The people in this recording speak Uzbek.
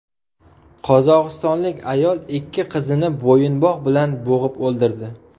Qozog‘istonlik ayol ikki qizini bo‘yinbog‘ bilan bo‘g‘ib o‘ldirdi.